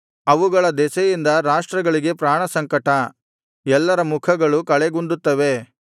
ಅವುಗಳ ದೆಸೆಯಿಂದ ರಾಷ್ಟ್ರಗಳಿಗೆ ಪ್ರಾಣ ಸಂಕಟ ಎಲ್ಲರ ಮುಖಗಳು ಕಳೆಗುಂದುತ್ತವೆ